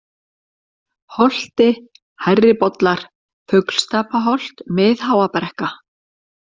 Holti, Hærribollar, Fuglstapaholt, Mið-Háabrekka